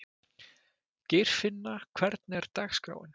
Geirfinna, hvernig er dagskráin?